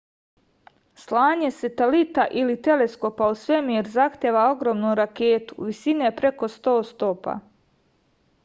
slanje satelita ili teleskopa u svemir zahteva ogromnu raketu visine preko 100 stopa